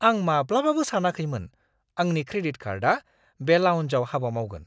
आं माब्लाबाबो सानाखैमोन आंनि क्रेडिट कार्डआ बे लाउन्जआव हाबा मावगोन!